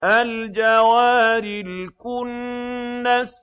الْجَوَارِ الْكُنَّسِ